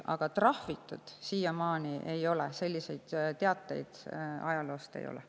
Aga trahvitud siiamaani ei ole, selliseid teateid ajaloost ei ole.